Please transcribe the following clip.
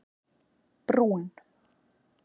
Brún